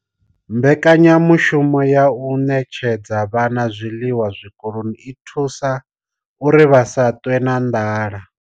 Mbekanya mushumo ya u ṋetshedza vhana zwiḽiwa zwikoloni i vha thusa uri vha si ṱwe na nḓala.